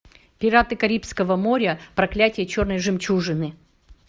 пираты карибского моря проклятие черной жемчужины